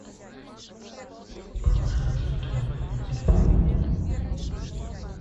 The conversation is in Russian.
положи деньги на номер телефона